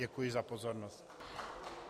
Děkuji za pozornost.